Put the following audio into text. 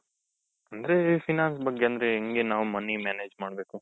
ಅಂದ್ರೆ finance ಬಗ್ಗೆ ಅಂದ್ರೆ ಹೆಂಗೆ ನಾವ್ money manage ಮಾಡ್ಬೇಕು?